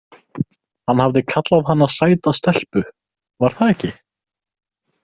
Hann hafði kallað hana sæta stelpu, var það ekki?